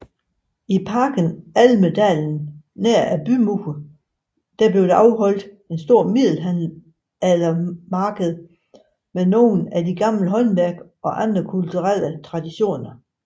I Parken Almedalen nær bymuren afholdes der et stort middelaldermarked med nogle af de gamle håndværk og andre kulturelle traditioner